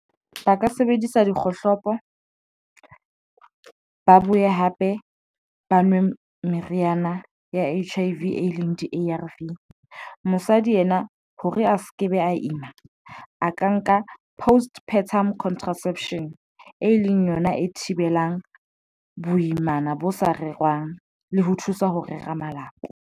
Ba ka sebedisa dikgohlopo, ba buye hape, ba nwe meriana ya H_I _V eleng di-A__R_V. Mosadi yena hore a se kebe a ima a ka nka postpartum contraception, e leng yona e thibelang boimana bo sa rerwang le ho thusa ho rera malapa.